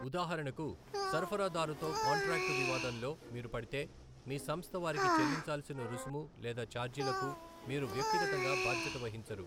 ఉదాహరణకు, సరఫరాదారుతో కాంట్రాక్టు వివాదంలో మీరు పడితే, మీ సంస్థ వారికి చెల్లించాల్సిన రుసుము లేదా ఛార్జీలకు మీరు వ్యక్తిగతంగా బాధ్యత వహించరు.